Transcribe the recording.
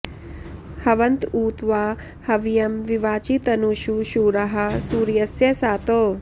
हवन्त उ त्वा हव्यं विवाचि तनूषु शूराः सूर्यस्य सातौ